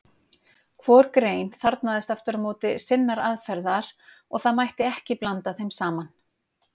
Hvor grein þarfnaðist aftur á móti sinnar aðferðar og það mætti ekki blanda þeim saman.